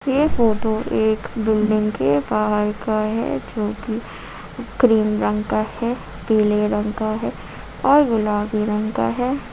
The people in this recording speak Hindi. यह फोटो एक बिल्डिंग के बाहर का है जो कि क्रीम रंग का है पीले रंग का है और गुलाबी रंग का है।